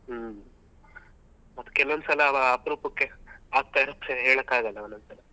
ಹ್ಮ್ ಮತ್ತೆ ಕೆಲವೊಂದ್ಸಲ ಅಪರೂಪಕ್ಕೆ ಆಗ್ತಾ ಇರುತ್ತೆ ಹೇಳಕ್ಕಾಗಲ್ಲ ಒಂದ್ ಒಂದ್ ಸಲ.